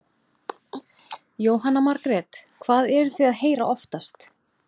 Jóhanna Margrét: Hvað eruð þið að heyra oftast?